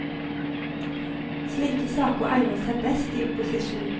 Slike saker egner seg best i opposisjon.